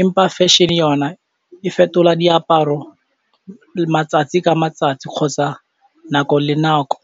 empa fashion yona e fetola diaparo matsatsi ka matsatsi kgotsa nako le nako.